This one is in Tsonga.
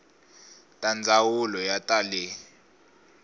ta ndzawulo ya ta le